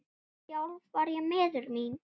Sjálf var ég miður mín.